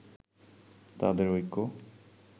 তাদের ঐক্য